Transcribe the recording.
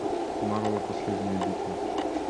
марвел последняя битва